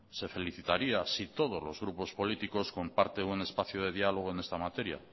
se felicitaría si todos los grupos políticos comparten un espacio de diálogo en esta materia